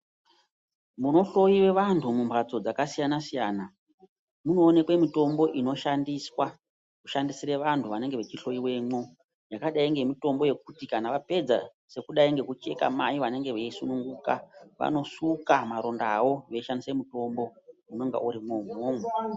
Munohloyiwe vantu mumphatso dzakasiyana siyana munoonekwe mitombo inoshandiswa kushandisire vantu vanenge vachihloyiwemwo yakadai ngemitombo yekuti kana vapedza sekudai ngekucheka mai vanenge veisununguka vanosuka marondawo veishandise mutombo unenge urimwo imwomwo.